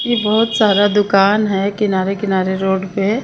ये बहुत सारा दुकान है किनारा किनारे रोड पे--